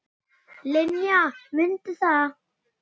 Linja, mundu það.